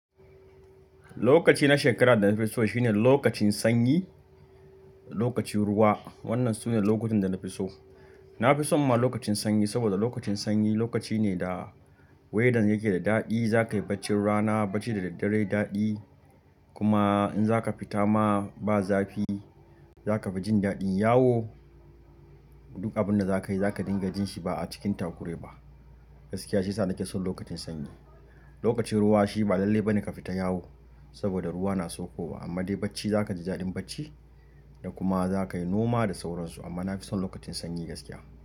Lokaci na shekarar da na fi so shine lokacin sanyi, lokacin ruwa. Wannan sune lokutan da na fi so. Na fi son ma lokacin sanyi saboda lokacin sanyi lokaci ne da wedan yake da daɗi. Za ka yi bacci rana bacci da daddare daɗi. Kuma in za ka fita ma ba zafi, za ka fi jin daɗin yawo. Duk abin da za ka yi, za ka dinga jin shi ba a cikin takure ba. Gaskiya ce sa ni ke son lokacin sanyi. Lokacin ruwa shi ba lalle bane ka fita yawo saboda ruwa na so kowa, amma dai bacci za ka ji daɗin bacci da kuma za ka yi noma da sauransu. Amma na fi son lokacin sanyi gaskiya.